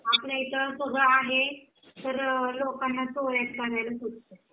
आपल्या इथे सगळं आहे तर लोकांना चोऱ्या करायला सुचतात